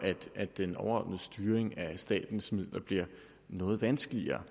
at den overordnede styring af statens midler bliver noget vanskeligere